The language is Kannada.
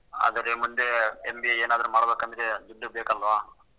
ಅದೇ ರೀ ಮುಂದೇ MBA ಏನಾದ್ರೂ ಮಾಡ್ಬೇಕು ಅಂದ್ರೆ ದುಡ್ಡು ಬೇಕು ಅಲ್ವಾ?